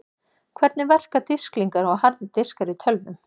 Hvernig verka disklingar og harðir diskar í tölvum?